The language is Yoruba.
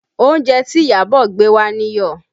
Oúnjẹ tí Iyabọ̀ gbé wá níyọ̀